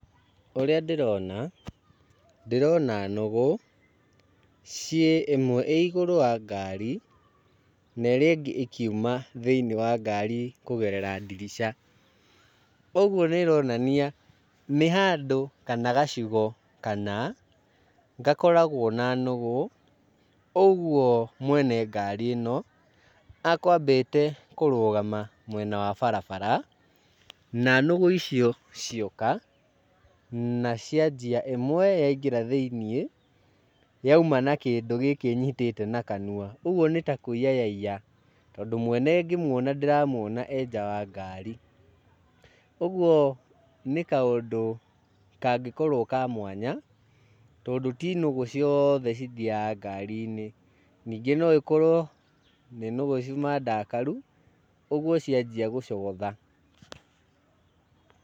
Ũrĩa ndĩrona, ndĩrona nũgũ ciĩ ĩmwe ĩ igũrũ wa ngari na ĩrĩa ĩngĩ ĩkiuma thĩini wa ngari kũgerera ndirica koguo nĩ ĩronania nĩ handũ kana gacigo kana gakoragwo na nũgũ ũguo mwene ngari ĩno ekwambĩte kũrũgama mwena wa barabara na nũgũ icio cioka, na cianjia ĩmwe yaingĩra thĩiniĩ yauma na kĩndũ gĩĩki ĩnyitĩte na kanua, ũguo nĩ ta kũiya yaiya, tondũ mwene ngĩmuona ndĩramuona arĩ nja wa ngari, ũguo nĩ kaũndũ kangĩkorwo ka mwanya tondũ tĩ nũgũ ciothe cithiaga ngari-inĩ. Ningĩ no ĩkorwo nĩ nũgũ ciuma ndakaru ũguo ciambia gũcogotha.